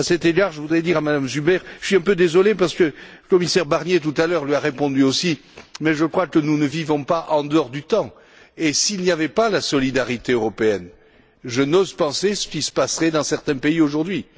À cet égard, je voudrais dire à Madame Zuber je suis un peu désolé, le commissaire Barnier, tout à l'heure, lui a répondu aussi mais je crois que nous ne vivons pas en dehors du temps et, s'il n'y avait pas la solidarité européenne, je n'ose penser ce qui se passerait dans certains pays aujourd'hui.